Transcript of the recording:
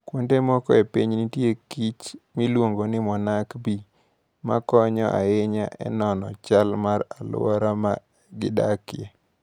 Kuonde moko e piny, nitie kich miluongo ni monarch bee, ma konyo ahinya e nono chal mar alwora ma gidakie.